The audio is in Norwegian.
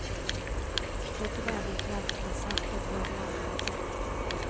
Krydre eventuelt med salt og grovmalt pepper.